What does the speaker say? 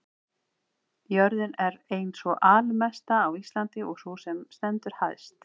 jörðin er ein sú landmesta á íslandi og sú sem stendur hæst